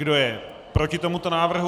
Kdo je proti tomuto návrhu?